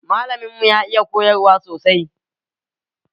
Malamin mu ya iya koyarwa sosai